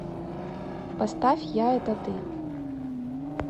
поставь я это ты